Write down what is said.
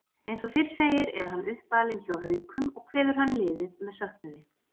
Eins og fyrr segir er hann uppalinn hjá Haukum og kveður hann liðið með söknuði.